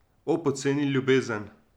O, poceni ljubezen!